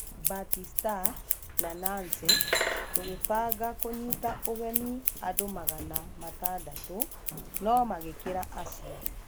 Batista na Nancy; Tũgibanga kũnyita ũgeni andũ magana matandatũ no-magĩkĩra acio.